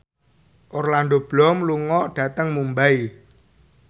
Orlando Bloom lunga dhateng Mumbai